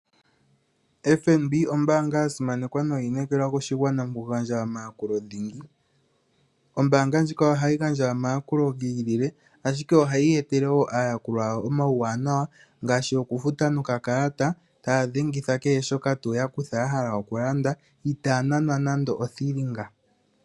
FNB ombaanga yasimanekwa no yili yi inekelwa moshigwana mo ku gandja omayakulo dhingi . Ombaanga ndjika ohayi gandja omayakulo gi ili, ashike oha yi etele woo aayakulwa yawo omawuwanawa ngaashi okufuta noka kalata ta ya dhengitha kehe shoka yakutha yahala okulanda I taya nanwa nando othilinga.